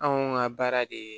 Anw ka baara de ye